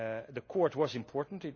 The Court was important